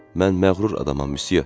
Mən məğrur adamam, müsyo.